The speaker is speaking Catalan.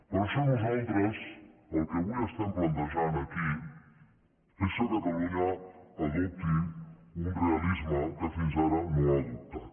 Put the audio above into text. per això nosaltres el que avui estem plantejant aquí és que catalunya adopti un realisme que fins ara no ha adoptat